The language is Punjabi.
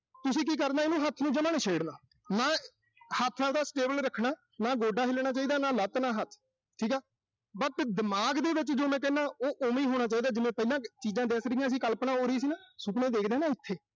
ਤੁਸੀਂ ਕੀ ਕਰਨਾ ਇਹਨੂੰ ਹੱਥ ਨੂੰ ਜਮਾ ਨੀਂ ਛੇੜਣਾ, ਅਹ ਹੱਥ ਆਬਦਾ stable ਰੱਖਣਾ। ਨਾ ਗੋਡਾ ਹਿੱਲਣਾ ਚਾਹੀਦਾ, ਨਾ ਲੱਤ, ਨਾ ਹੱਥ ਠੀਕਾ। but ਦਿਮਾਗ ਦੇ ਵਿੱਚ ਜੋ ਮੈਂ ਕਹਿਣਾ, ਉਹ ਓਵੇਂ ਹੀ ਹੋਣਾ ਚਾਹੀਦਾ, ਜਿਵੇਂ ਪਹਿਲਾਂ ਚੀਜ਼ਾਂ ਦਿਖ ਰਹੀਆਂ ਸੀ, ਕਲਪਨਾ ਹੋ ਰਹੀ ਸੀ ਹਨਾ। ਸੁਪਨਾ ਦਿਖਦਾ ਨਾ ਉਥੇ।